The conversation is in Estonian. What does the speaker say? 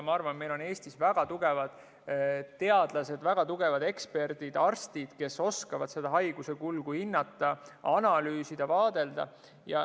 Ma arvan, et meil on Eestis väga tugevad teadlased, väga tugevad eksperdid, arstid, kes oskavad haiguse kulgu hinnata, analüüsida ja vaadelda.